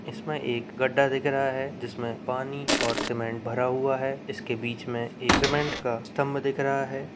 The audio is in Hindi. इसमें एक गड्ढा दिख रहा है। जिसमें पानी और सीमेंट भरा हुआ है। इसके बीच में एक सीमेंट का स्तंभ दिख रहा है।